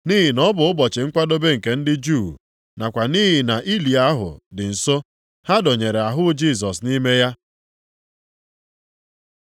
Nʼihi na ọ bụ ụbọchị Nkwadebe nke ndị Juu, + 19:42 maka ụbọchị izuike ndị Juu nakwa nʼihi na ili ahụ dị nso, ha dọnyere ahụ Jisọs nʼime ya.